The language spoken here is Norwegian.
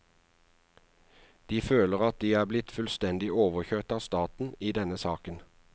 De føler at de er blitt fullstendig overkjørt av staten i denne saken.